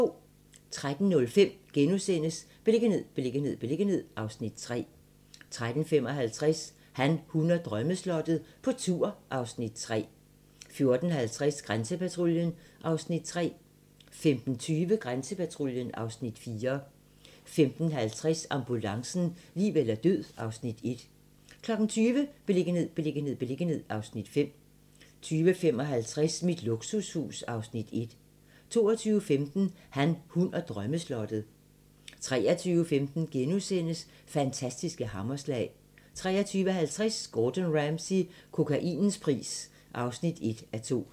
13:05: Beliggenhed, beliggenhed, beliggenhed (Afs. 3)* 13:55: Han, hun og drømmeslottet - på tur (Afs. 3) 14:50: Grænsepatruljen (Afs. 3) 15:20: Grænsepatruljen (Afs. 4) 15:50: Ambulancen - liv eller død (Afs. 1) 20:00: Beliggenhed, beliggenhed, beliggenhed (Afs. 5) 20:55: Mit luksushus (Afs. 1) 22:15: Han, hun og drømmeslottet 23:15: Fantastiske hammerslag * 23:50: Gordon Ramsay - kokainens pris (1:2)